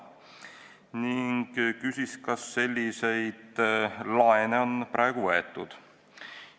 Ta küsis, kas selliseid laene on praegu võetud.